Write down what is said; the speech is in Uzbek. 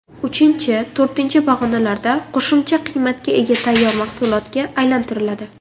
Uchinchi, to‘rtinchi pog‘onalarda qo‘shimcha qiymatga ega tayyor mahsulotga aylantiriladi.